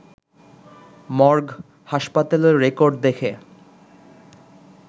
morgue, হাসপাতালের record দেখে